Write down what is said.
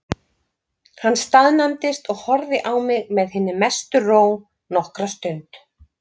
Hann staðnæmdist og horfði á mig með hinni mestu ró nokkra stund.